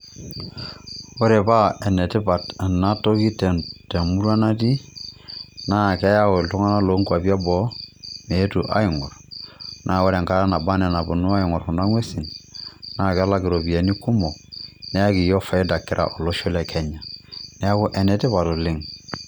Ore paa ene tipat ena toki te murua natii naa keyau itung'anak lo nkuapi e boo meetu aing'or, naa ore enkata naba nee naponu aing'or kuna ng'uesin naa kelak iropiani kumok neyaki iyiok faida kira olosho le Kenya.